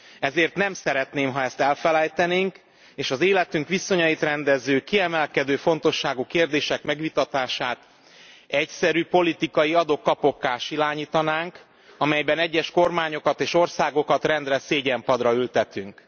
Ezért nem szeretném, ha ezt elfelejtenénk, és az életünk viszonyait rendező, kiemelkedő fontosságú kérdések megvitatását egyszerű politikai adok kapokká silányítanánk, amelyben egyes kormányokat és országokat rendre szégyenpadra ültetünk.